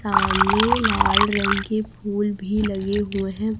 सामने लाल रंग के फूल भी लगे हुए हैं।